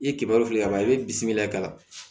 I ye kɛmɛ wili ka ban i bɛ bisimila ka